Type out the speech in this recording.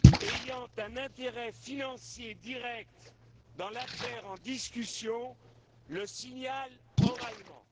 ayant un intérêt financier direct dans l'affaire en discussion le signale oralement.